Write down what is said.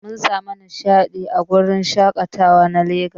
Mun samu nishadi a wurin shakatawa na Legas.